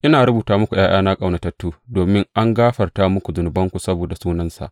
Ina rubuta muku, ’ya’yana ƙaunatattu, domin an gafarta muku zunubanku saboda sunansa.